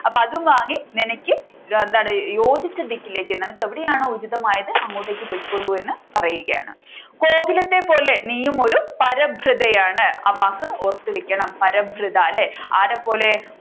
അപ്പൊ അതും വാങ്ങി നിനക്ക് എന്താണ് യോജിച്ച ദിക്കിലേക്ക് നിനക്ക് എവിടെയാണോ ഉചിതമായത് അങ്ങോട്ടേക്ക് പൊയ്ക്കോളൂ എന്ന് പറയുകയാണ് ഗോകുലത്തെ പോലെ നീയും ഒരു പരഭൃത ആണ് ആ വാക്ക് ഓർത്തു വെക്കണം പരഭൃത അല്ലെ ആരെപ്പോലെ